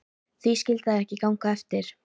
Því skyldi það ekki ganga eftir?